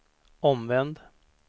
omvänd